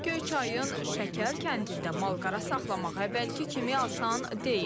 Göyçayın Şəkər kəndində malqara saxlamaq əvvəlki kimi asan deyil.